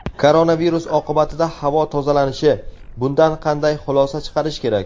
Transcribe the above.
Koronavirus oqibatida havo tozalanishi: bundan qanday xulosa chiqarish kerak?.